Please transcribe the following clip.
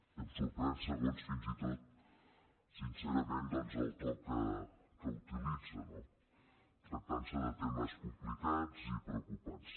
i em sorprèn fins i tot sincerament doncs el to que utilitza no tractant se de temes complicats i preocupants